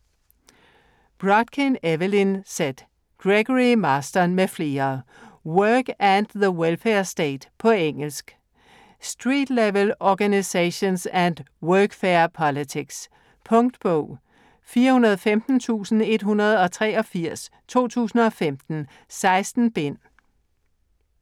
Brodkin, Evelyn Z., Gregory Marston m.fl.: Work and the welfare state På engelsk. Street-level organizations and workfare politics. Punktbog 415183 2015. 16 bind.